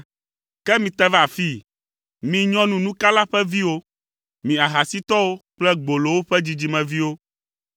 “Ke mite va afii, mi nyɔnunukala ƒe viwo. Mi ahasitɔwo kple gbolowo ƒe dzidzimeviwo!